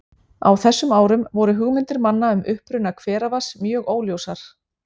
Á þessum árum voru hugmyndir manna um uppruna hveravatns mjög óljósar.